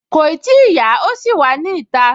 Kòì tíì yá, ó ṣì wà ní ìta